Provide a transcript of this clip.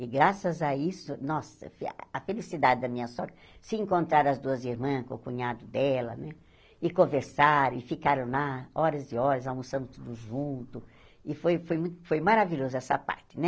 E graças a isso, nossa, fe a felicidade da minha sogra, se encontraram as duas irmãs com o cunhado dela, né, e conversaram, e ficaram lá, horas e horas, almoçamos tudo junto, e foi foi mu foi maravilhoso essa parte, né?